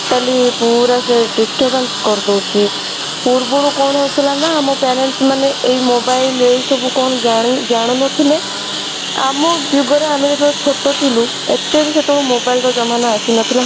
mentally ପୁରା ସେ disturbance କରିଦଉଛି ପୂର୍ବରୁ କଣ ହଉଥିଲା ନା ଆମ parents ମାନେ ଏଇ mobile ଏଇ ସବୁ କଣ ଜାଣି ଜାଣୁ ନଥିଲେ ଆମ ଯୁଗ ରେ ଆମେ ଯେତେବେଳେ ଛୋଟ ଥିଲୁ ଏତେ ବି ସେତେବେଳେ mobile ର ଜମାନା ଆସି ନଥିଲା